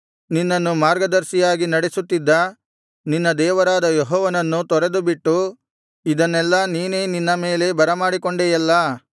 ನಿನ್ನನ್ನು ಮಾರ್ಗದರ್ಶಿಯಾಗಿ ನಡೆಸುತ್ತಿದ್ದ ನಿನ್ನ ದೇವರಾದ ಯೆಹೋವನನ್ನು ತೊರೆದುಬಿಟ್ಟು ಇದನ್ನೆಲ್ಲಾ ನೀನೇ ನಿನ್ನ ಮೇಲೆ ಬರಮಾಡಿಕೊಂಡೆಯಲ್ಲಾ